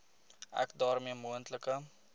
ek daarmee moontlike